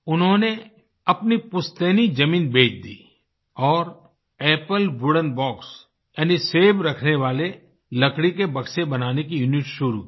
उन्होंने अपनी पुस्तैनी जमीन बेच दी और एपल वुडेन बॉक्स यानी सेब रखने वाले लकड़ी के बक्से बनाने की यूनिट शुरू की